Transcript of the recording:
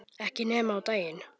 Ekki nema á daginn